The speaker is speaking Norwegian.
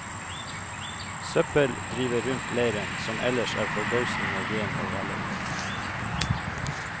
Søppel driver rundt leiren, som ellers er forbausende ren og velordnet.